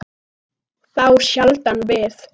Þá sjaldan við